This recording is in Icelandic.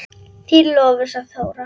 Þín Lovísa Þóra.